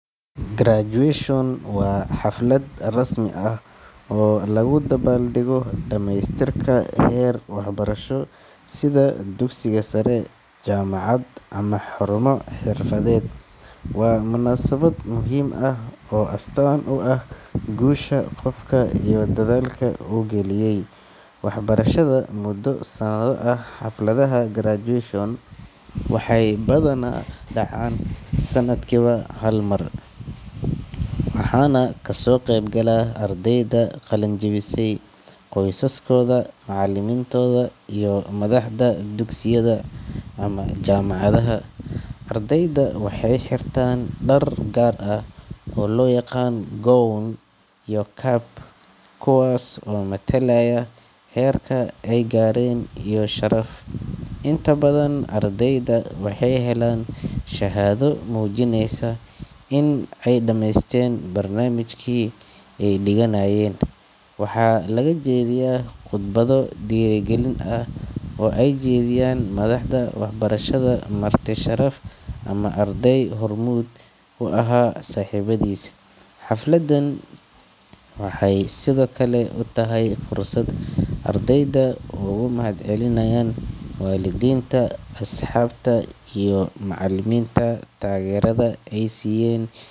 Graduation waa xaflad rasmi ah oo lagu dabaaldego dhamaystirka heer waxbarasho, sida dugsiga sare, jaamacad ama xarumo xirfadeed. Waa munaasabad muhiim ah oo astaan u ah guusha qofka iyo dadaalka uu geliyay waxbarashada muddo sanado ah. Xafladaha graduation waxay badanaa dhacaan sanadkiiba hal mar, waxaana ka soo qayb gala ardayda qalin-jabisay, qoysaskooda, macallimiintooda iyo madaxda dugsiyada ama jaamacadaha. Ardayda waxay xirtaan dhar gaar ah oo loo yaqaan gown iyo cap, kuwaas oo matalaya heerka ay gaareen iyo sharaf. Inta badan ardayda waxay helaan shahaado muujinaysa in ay dhamaysteen barnaamijkii ay dhiganayeen. Waxaa laga jeediyaa khudbado dhiirrigelin ah oo ay jeediyaan madaxda waxbarashada, marti sharaf ama arday hormuud u ahaa saaxiibadiis. Xafladan waxay sidoo kale u tahay fursad ardayda ay ugu mahadcelinayaan waalidiinta, asxaabta iyo macallimiinta taageerada ay siiyeen.